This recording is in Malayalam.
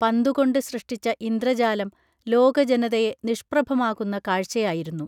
പന്തുകൊണ്ട് സൃഷ്ടിച്ച ഇന്ദ്രജാലം ലോക ജനതയെ നിഷ്പ്രഭമാകുന്ന കാഴ്ചയായിരുന്നു